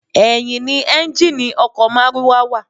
Ẹ̀yìn ni ẹ́ńjíìnnì ọkọ̀ márúwá wa.